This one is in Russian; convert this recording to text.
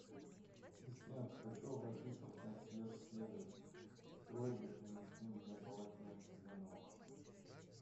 ассистент хочу обратиться в консьерж сервис с просьбой принести мне полотенце для ног